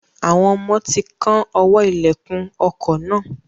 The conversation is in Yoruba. Àwọn ọmọ ti kán ọwọ́ ìlẹ̀kùn ọkọ̀ náà.